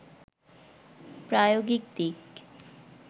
প্রায়োগিক দিক